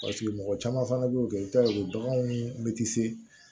Paseke mɔgɔ caman fana bɛ yen i b'a ye u bɛ baganw bɛ tise